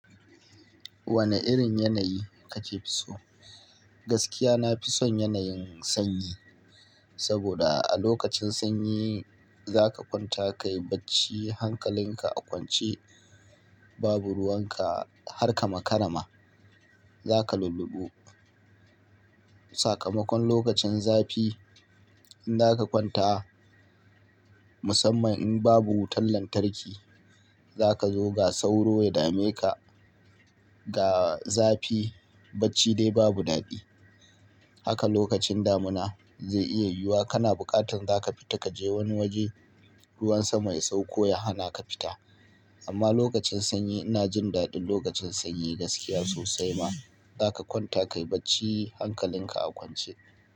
Wane irin yanayi kake so? Gaskiya, na fi son yanayin sanyi. Saboda a lokacin sanyi, za ka kwanta ka yi bacci hankalinka a kwance. Babu ruwan ka, har ka makarama, za ka lulluɓu. Sakamakon lokacin zafi, in za ka kwanta, musamman in babu wutan lantarki, za ka zo ga sauro ya dameka. Ga zafi, bacci dai babu daɗi. Haka lokacin damuna zai iya yiwuwa kana buƙatar za ka fita ka je wani waje, ruwan sama ya sauko ya hana ka fita. Amma lokacin sanyi, ina jin daɗin lokacin sanyi gaskiya sosai ma. Za ka kwanta ka yi bacci hankalinka a kwance.